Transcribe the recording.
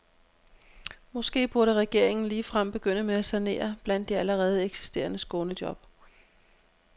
Måske burde regeringen ligefrem begynde med at sanere blandt de allerede eksisterende skånejob.